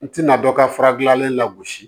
N tɛna dɔ ka fara gilannen lagosi